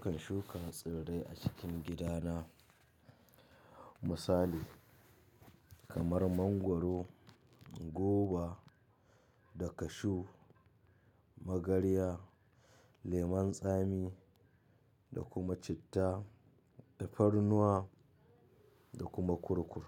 Karshen shuka tsirrai a cikin gidana. Misali kamar mangwaro, goba da kashu, magarya, lemon tsami da kuma citta, tarnuwa da kuma kurkur.